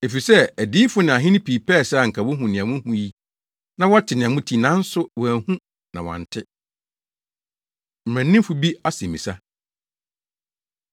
Efisɛ adiyifo ne ahene pii pɛe sɛ anka wohu nea muhu yi na wɔte nea mote yi, nanso wɔanhu na wɔante.” Mmaranimfo Bi Asɛmmisa